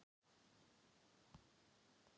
Hann er að reyna að rísa upp aftur.